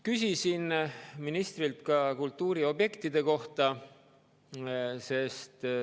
Küsisin ministrilt kultuuriobjektide kohta.